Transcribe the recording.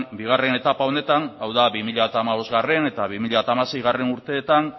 bigarren etapa honetan hau da bi mila hamabostgarrena eta bi mila hamaseigarrena urteetan